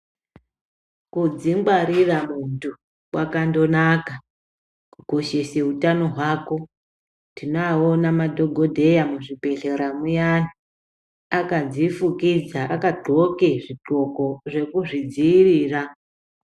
Kudzingwarira muntu kwakangonaka kukoshesa utano hwako tinoona madhokodheya muzvibhehlera muyani akazvifukidza akadhloke zvidhloko zvekuzvidziirira